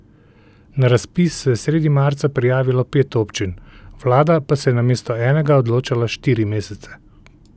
Na razpis se je sredi marca prijavilo pet občin, vlada pa se je namesto enega odločala štiri mesece.